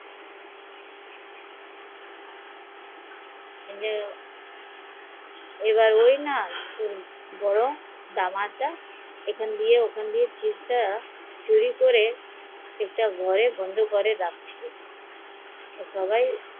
আহ ওই বড় দামাত তা সব চুরি করে একটা ঘরে বন্ধ করে রাখছিল